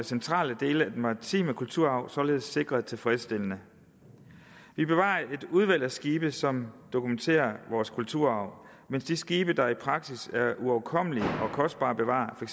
centrale dele af den maritime kulturarv således sikret tilfredsstillende vi bevarer et udvalg af skibe som dokumenterer vores kulturarv mens de skibe der i praksis er uoverkommelige og kostbare at bevare for